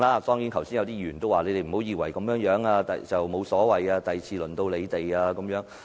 剛才也有議員說，你們不要以為這樣沒有所謂，下次便輪到你們。